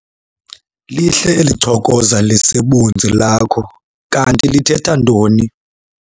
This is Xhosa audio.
Lihle eli chokoza lisebunzi lakho. Kanti lithetha ntoni?